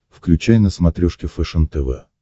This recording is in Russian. включай на смотрешке фэшен тв